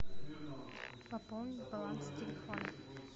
пополнить баланс телефона